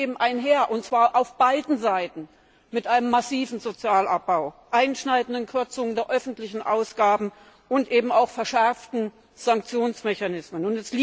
Und das geht eben einher und zwar auf beiden Seiten mit einem massiven Sozialabbau, einschneidenden Kürzungen der öffentlichen Ausgaben und auch verschärften Sanktionsmechanismen.